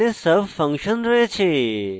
এখানে sub function রয়েছে